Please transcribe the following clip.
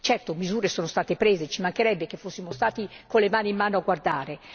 Certo, delle misure sono state prese, ci mancherebbe che fossimo stati con le mani in mano a guardare!